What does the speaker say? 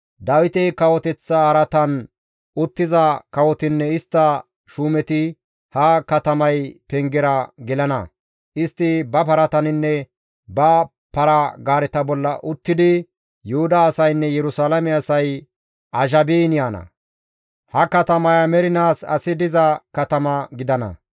Dawite kawoteththa araatan uttiza kawotinne istta shuumeti ha katamay pengera gelana; istti ba parataninne ba para-gaareta bolla uttidi Yuhuda asaynne Yerusalaame asay azhabiin yaana; ha katamaya mernaas asi diza katama gidana.